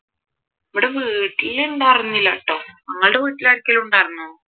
ഇവിടെ വീട്ടിൽ ഉണ്ടായിരുന്നില്ലാട്ടോ നിങ്ങളുടെ വീട്ടിൽ ആർകെലും ഉണ്ടായിരുന്നോ